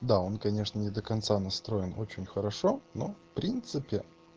да он конечно не до конца настроен очень хорошо но в принципе